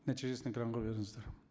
нәтижесін экранға беріңіздер